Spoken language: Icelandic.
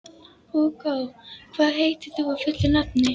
Hugó, hvað heitir þú fullu nafni?